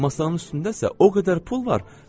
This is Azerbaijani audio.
Masanın üstündə isə o qədər pul var.